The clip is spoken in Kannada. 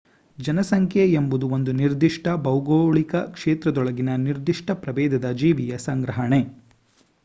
ಜನಸಂಖ್ಯೆ ಎಂಬುದು ಒಂದು ನಿರ್ದಿಷ್ಟ ಭೌಗೋಳಿಕ ಕ್ಷೇತ್ರದೊಳಗಿನ ನಿರ್ದಿಷ್ಟ ಪ್ರಭೇದದ ಜೀವಿಯ ಸಂಗ್ರಹಣೆ